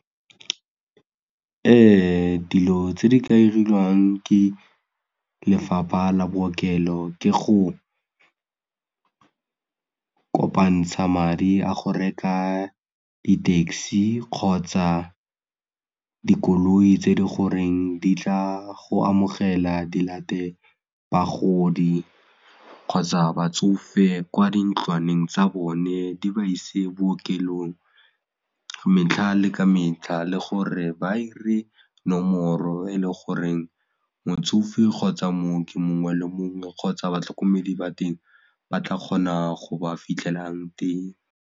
dilo tse di ka 'iriwang ke lefapha la bookelo ke go kopantsha madi a go reka di-taxi kgotsa dikoloi tse di goreng di tla go amogela di late bagodi kgotsa batsofe kwa dintlwaneng tsa bone di ba ise bookelong metlha le ka metlha le gore ba 'ire nomoro e le goreng motsofe kgotsa mooki mongwe le mongwe kgotsa batlhokomedi ba teng ba tla kgona go ba fitlhelang teng.